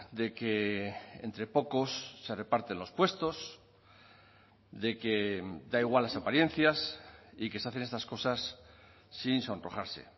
de que entre pocos se reparten los puestos de que da igual las apariencias y que se hacen estas cosas sin sonrojarse